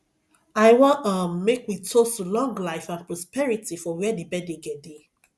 i wan um make we toast to long life and prosperity for where the birthday girl dey